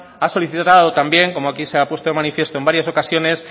ha solicitado también como aquí se ha puesto de manifiesto en varias ocasiones